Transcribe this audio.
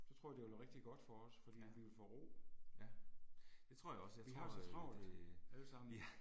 Så tror jeg det ville være rigtig godt for os, fordi vi ville få ro. Vi har så travlt alle sammen